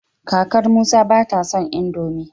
kakar Musa bata son indomie